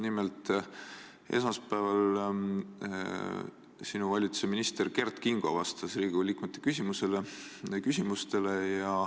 Nimelt, esmaspäeval vastas sinu valitsuse minister Kert Kingo Riigikogu liikmete küsimustele.